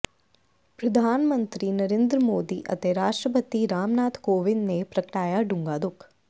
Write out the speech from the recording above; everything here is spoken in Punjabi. ਪ੍ਰਧਾਨ ਮੰਤਰੀ ਨਰਿੰਦਰ ਮੋਦੀ ਅਤੇ ਰਾਸ਼ਟਰਪਤੀ ਰਾਮਨਾਥ ਕੋਵਿੰਦ ਨੇ ਪ੍ਰਗਟਾਇਆ ਡੂੰਘਾ ਦੁੱਖ